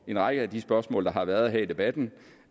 en række af de spørgsmål der har været her i debatten